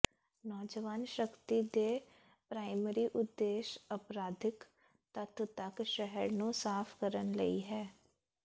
ਨੌਜਵਾਨ ਸ਼ਕਤੀ ਦੇ ਪ੍ਰਾਇਮਰੀ ਉਦੇਸ਼ ਅਪਰਾਧਿਕ ਤੱਤ ਤੱਕ ਸ਼ਹਿਰ ਨੂੰ ਸਾਫ਼ ਕਰਨ ਲਈ ਹੈ